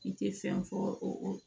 I tɛ fɛn fɔ o